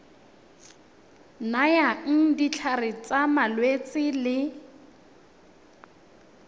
nayang ditlhare tsa malwetse le